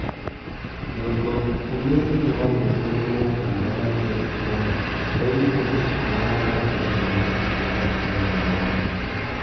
Ng'ot kometinye wolutiet nenoton agobo tebutioni, koimuch mung'areng'ung komi kotokchinge kobut.